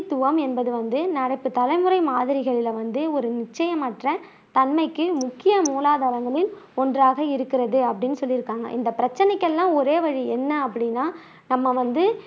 மேகங்களின் பிரதிநிதித்துவம் என்பது வந்து நடப்பு தலைமுறை மாதிரிகளில வந்து ஒரு நிச்சயமற்ற தன்மைக்கு முக்கிய மூலாதாரங்களில் ஒன்றாக இருக்கிறது அப்படின்னு சொல்லியிருக்காங்க, இந்த பிரச்சினைக்கு எல்லாம் ஒரே வழி என்ன அப்படினா நம்ம வந்து